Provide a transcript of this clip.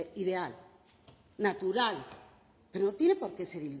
ideal natural pero no tiene por qué ser